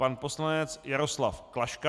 Pan poslanec Jaroslav Klaška.